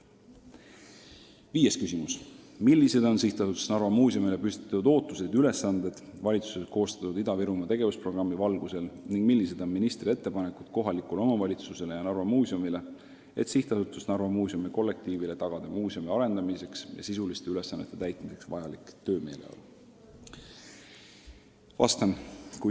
Viies küsimus: "Millised on SA Narva Muuseumile püstitatud ootused ja ülesanded valitsuses koostatud Ida-Virumaa tegevusprogrammi valgusel ning millised on ministri ettepanekud kohalikule omavalitsusele ja Narva Muuseumile, et SA Narva Muuseumi kollektiivile tagada muusemi arendamiseks ja sisuliste ülesannete täitmiseks vajalik töömeeleolu?